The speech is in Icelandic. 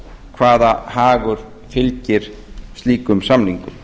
hvaða hagur fylgir slíkum samningum